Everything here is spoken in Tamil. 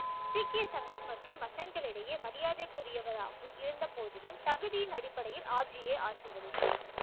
முக்கிய சங்கத் மற்றும் மசங்களியிடையே மரியாதைக்குரியவராகவும் இருந்த போதிலும் தகுதியின் அடிப்படையில் ஆப் ஜி யே ஆட்சி வகித்தார்